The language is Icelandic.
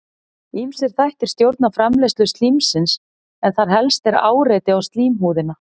ýmsir þættir stjórna framleiðslu slímsins en þar helst er áreiti á slímhúðina